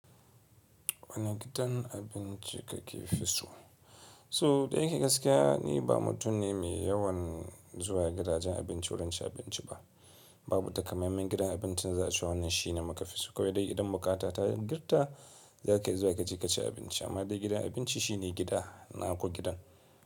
Wane gidan abinci ka ke fi so? So da yake gaskiya ni ba mutum ne mai yawan zuwa gidajen abinci wurin ci abinci ba. Babu takamaiman gidan abinci na za a ce wannan shi na maka fi so. Ko dai idan bukata ta yi in girka za ka iya zuwa ka je ka ci abinci. Amma dai gidan abinci shi ne gida na ko gidan.